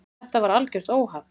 Þetta var algjört óhapp.